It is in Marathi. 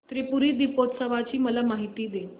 त्रिपुरी दीपोत्सवाची मला माहिती दे